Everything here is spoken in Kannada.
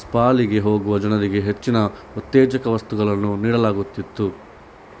ಸ್ಪಾಗಳಿಗೆ ಹೋಗುವ ಜನರಿಗೆ ಹೆಚ್ಚಿನ ಉತ್ತೇಜಕ ವಸ್ತುಗಳನ್ನು ನೀಡಲಾಗುತ್ತಿತ್ತು